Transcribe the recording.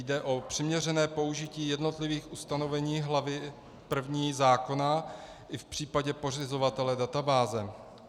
Jde o přiměřené použití jednotlivých ustanovení hlavy první zákona i v případě pořizovatele databáze.